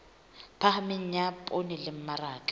phahameng ya poone le mmaraka